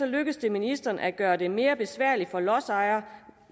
lykkes det ministeren at gøre det mere besværligt for lodsejere